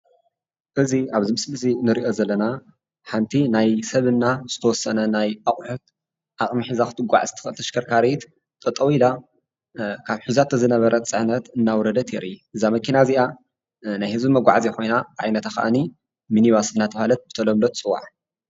እዚ አብ ዚ ምስሊ እዚ እ ንሪኢ ዘለና ሓንቲ ናይ ሰብ ና ዝተወሰነ ናይ አቁሑት ዓቅሚ ሒዛ ክትጓዓዝ ትክእል ተሽከርካሪ ት ጠጠው ኢላ ካብ ሒዛቶ ዝነበረት ፅዕነት እናወርደት የርኢ እዛ መኪና እዚአ ናይ ህዝቢ መጓዓዝያ ኮይና ዓይነታ ክእኒ ሚኒ ባስ እናተባህለት ብተለምዶ ትፅዋዕ፡፡